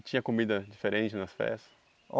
E tinha comida diferente nas festas?